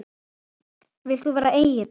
Vilt þú vera Egill?